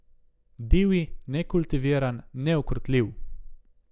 Divji, nekultiviran, neukrotljiv.